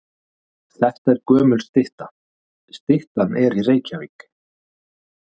Þetta er gömul stytta. Styttan er í Reykjavík.